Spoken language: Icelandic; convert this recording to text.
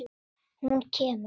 Hún kemur!